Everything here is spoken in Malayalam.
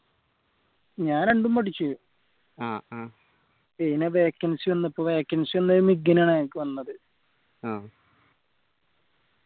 ഞാൻ രണ്ടും പഠിച്ച് പിന്നെ vacancy വന്നപ്പോ vacancy വന്ന മിഗിനാണ് എനക്ക് വന്നത്